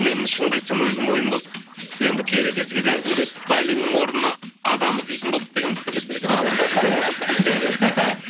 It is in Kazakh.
мен шынымды айтсам өзім ойым болды енді берекесі кетеді әзімбек байлинның орнына адам іздейтін болдық деген біртүрлі естіледі екен жоқ